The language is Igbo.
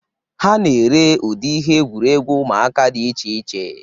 Ha na-ere ụdị ihe egwuregwu ụmụaka dị iche iche.